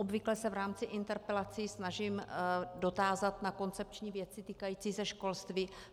Obvykle se v rámci interpelací snažím dotázat na koncepční věci týkající se školství.